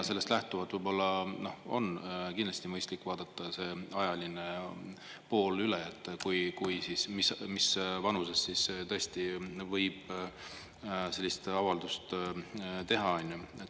Sellest lähtuvalt võib-olla on kindlasti mõistlik vaadata see ajaline pool üle, mis vanusest siis tõesti võib sellist avaldust teha.